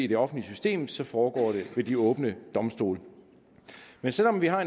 det offentlige system så foregår det ved de åbne domstole selv om vi har